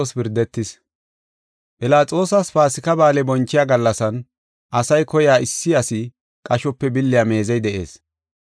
Philaxoosas Paasika Ba7aale bonchiya gallasan asay koya issi asi qashope billiya meezey de7ees.